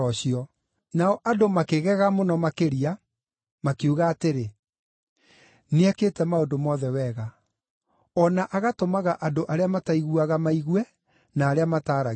Nao andũ makĩgega mũno makĩria, makiuga atĩrĩ, “Nĩekĩte maũndũ mothe wega. O na agatũmaga andũ arĩa mataiguaga maigue na arĩa mataaragia maarie.”